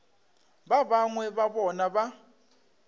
ba bangwe ba bona ba